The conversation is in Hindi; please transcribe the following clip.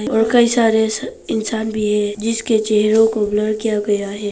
और कई सारे स इंसान भी है जिसके चेहरे को ब्लर किया गया है।